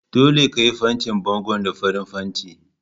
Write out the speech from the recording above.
Dole ka yi fantin bangon da farin fanti!